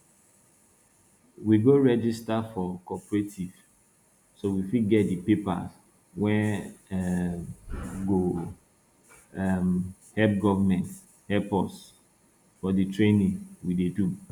we go register for cooperative so we fit get the paper wey um go um make government help us for the training we dey do